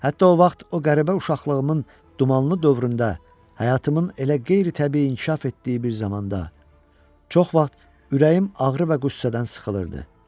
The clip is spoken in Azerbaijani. Hətta o vaxt o qəribə uşaqlığımın dumanlı dövründə, həyatımın elə qeyri-təbii inkişaf etdiyi bir zamanda çox vaxt ürəyim ağrı və qüssədən sıxılırdı.